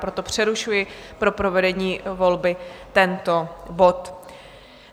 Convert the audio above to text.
Proto přerušuji pro provedení volby tento bod.